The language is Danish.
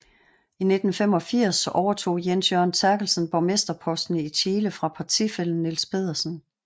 I 1985 overtog Jens Jørgen Therkelsen borgmesterposten i Tjele fra partifællen Niels Pedersen